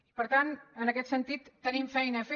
i per tant en aquest sentit tenim feina a fer